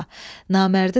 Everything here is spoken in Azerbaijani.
Namərdi tapdılar.